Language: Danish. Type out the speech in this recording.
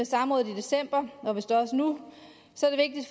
samrådet i december og vist også nu